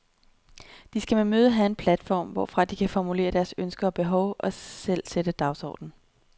De skal med mødet have en platform, hvorfra de kan formulere deres ønsker og behov og selv sætte en dagsorden.